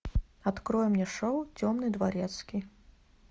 открой мне шоу темный дворецкий